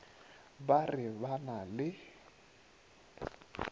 ba re ba na le